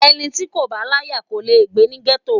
Ẹni tí kò bá láyà kò le gbé ní gétò